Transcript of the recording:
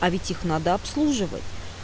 а ведь их надо обслуживать